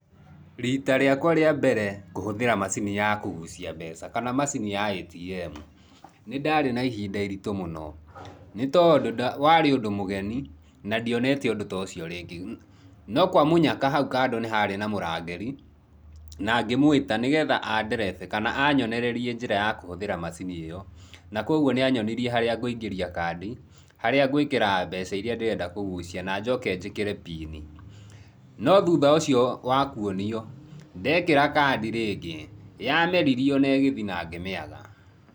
Rita rĩakwa rĩa mbere kũhũthĩra macini ya kũgucia mbeca kana macini ya ATM, nĩndarĩ na ihinda iritũ mũno nĩ tondũ warĩ ũndũ mũgeni na ndionete ũndũ tocio rĩngĩ, no kwa mũnyaka hau kando nĩ harĩ na mũrangĩri na ngĩmwĩta nĩgetha anderethe kana anyonererie njĩra ya kũhũthĩra macini ĩyo na kogwo nĩ anyonirie harĩa ngũingĩria kandi, harĩa ngũĩkĩra mbeca iria ngwenda kũgucia na njoke njĩkĩre pin. No thutha ũcĩo wa kũonio, ndekĩra kandi rĩngĩ, yameririo na ĩgĩthiĩ na ngĩmĩaga.